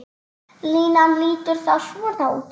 Línan lítur þá svona út